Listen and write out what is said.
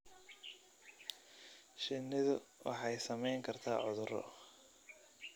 Shinnidu waxay saameyn kartaa cudurro.